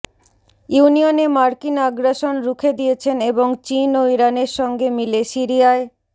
ইউনিয়নে মার্কিন আগ্রাসন রুখে দিয়েছেন এবং চীন ও ইরানের সঙ্গে মিলে সিরিয়ায়